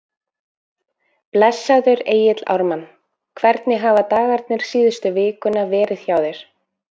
Blessaður Egill Ármann, hvernig hafa dagarnir síðustu vikuna verið hjá þér?